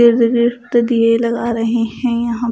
दिए लगा रहे हैं यहाँ--